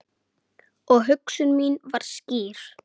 Og hugsun mín var skýr.